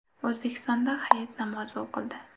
O‘zbekistonda hayit namozi o‘qildi.